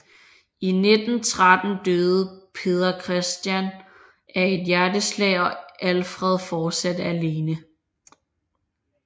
I 1913 døde Peder Christian af et hjerteslag og Alfred fortsatte alene